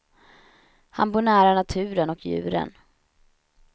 Han bor nära naturen och djuren.